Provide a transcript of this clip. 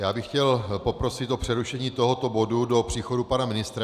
Já bych chtěl poprosit o přerušení tohoto bodu do příchodu pana ministra.